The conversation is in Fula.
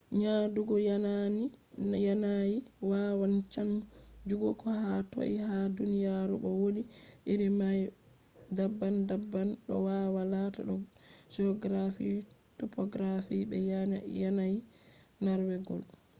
nyaɗugo yanayi wawan chanjugo ko ha toi ha duniyaru bo wodi iri mai daban daban ɗo wawa lata do geography topography be yanayi nargewol